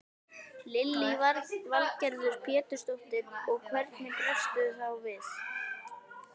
Lillý Valgerður Pétursdóttir: Og hvernig bregstu þá við?